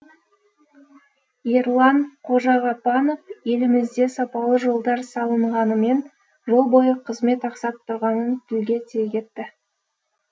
ерлан қожағапанов елімізде сапалы жолдар салынғанымен жол бойы қызмет ақсап тұрғанын тілге тиек етті